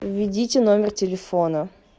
введите номер телефона